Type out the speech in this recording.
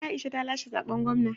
Aisha ta lashe zaɓen gwamna